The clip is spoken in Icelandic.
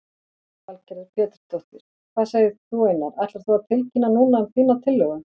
Lillý Valgerður Pétursdóttir: Hvað segir þú Einar, ætlar þú að tilkynna núna um þína tillögu?